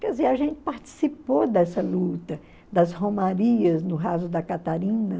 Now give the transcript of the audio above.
Quer dizer, a gente participou dessa luta, das romarias no raso da Catarina.